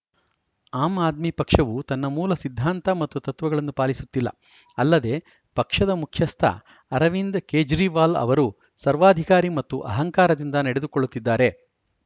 am Aadmi ಪಕ್ಷವು ತನ್ನ ಮೂಲ ಸಿದ್ಧಾಂತ ಮತ್ತು ತತ್ವಗಳನ್ನು ಪಾಲಿಸುತ್ತಿಲ್ಲ ಅಲ್ಲದೆ ಪಕ್ಷದ ಮುಖ್ಯಸ್ಥ ಅರವಿಂದ್‌ ಕೇಜ್ರಿವಾಲ್‌ ಅವರು ಸರ್ವಾಧಿಕಾರಿ ಮತ್ತು ಅಹಂಕಾರದಿಂದ ನಡೆದುಕೊಳ್ಳುತ್ತಿದ್ದಾರೆ